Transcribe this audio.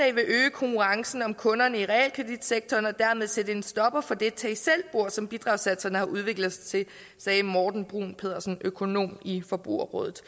konkurrencen om kunderne i realkreditsektoren og dermed sætte en stopper for det tag selv bord som bidragssatserne har udviklet sig til sagde morten bruun pedersen økonom i forbrugerrådet